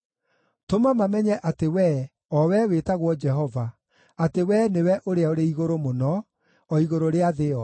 Tũma mamenye atĩ Wee, o Wee wĩtagwo Jehova, atĩ Wee nĩwe Ũrĩa-ũrĩ-Igũrũ-Mũno, o igũrũ rĩa thĩ yothe.